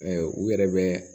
u yɛrɛ bɛ